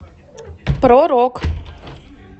про рок